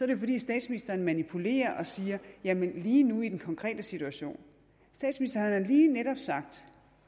det fordi statsministeren manipulerer og siger jamen lige nu i den konkrete situation statsministeren har lige netop sagt